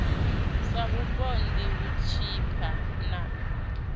sa vhupondi u tshipa na